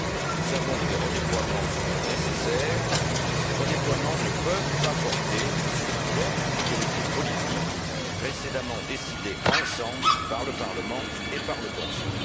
Nous savons que des redéploiements seront nécessaires, mais ces redéploiements ne peuvent pas porter sur d'autres priorités politiques précédemment décidées ensemble par le Parlement et par le Conseil.